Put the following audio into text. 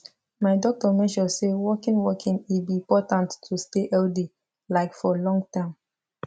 my doctor mention say walking walking e be important to stay healthy like for long term